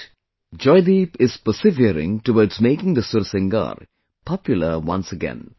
But, Joydeep is persevering towards making the Sursingar popular once again